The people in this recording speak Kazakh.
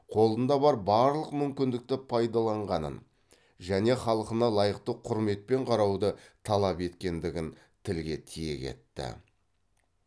қолында бар барлық мүмкіндікті пайдаланғанын және халқына лайықты құрметпен қарауды талап еткендігін тілге тиек етті